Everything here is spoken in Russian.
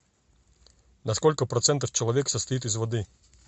на сколько процентов человек состоит из воды